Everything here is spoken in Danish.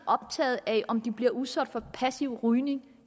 optaget af om de bliver udsat for passiv rygning